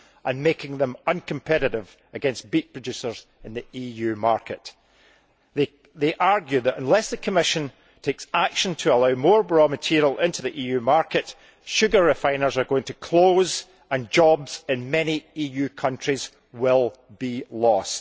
and making them uncompetitive against beet producers in the EU market. They argue that unless the Commission takes action to allow more raw material into the EU market, sugar refiners are going to close and jobs in many EU countries will be lost.